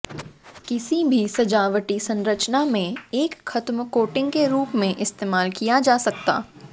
किसी भी सजावटी संरचना में एक खत्म कोटिंग के रूप में इस्तेमाल किया जा सकता